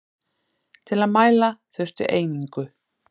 Til að mæla þurfti einingu.